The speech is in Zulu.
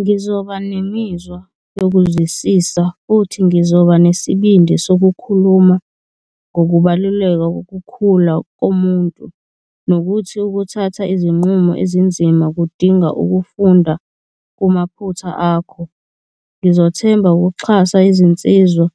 Ngizoba nemizwa yokuzwisisa futhi ngizoba nesibindi sokukhuluma ngokubaluleka kokukhula komuntu, nokuthi ukuthatha izinqumo ezinzima kudinga ukufunda kumaphutha akho. Ngizothemba ukuxhasa izinsizwa